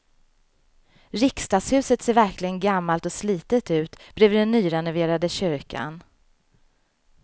Riksdagshuset ser verkligen gammalt och slitet ut bredvid den nyrenoverade kyrkan.